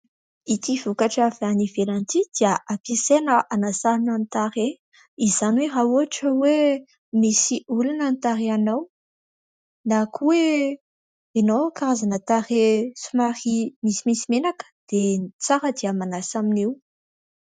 Ity vokatra avy any ivelany ity dia hampiasaina hanasàna ny tarehy, izany hoe raha ohatra hoe : misy olana ny tarehinao na koa hoe : ianao karazana tarehy misimisy menaka dia ny tsara dia manasa amin' io.